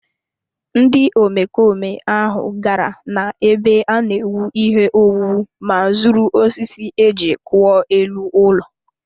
Ndị omekome ahụ gara n’ebe a na-ewu ihe owuwu ma zuru osisi e ji kpụọ elu ụlọ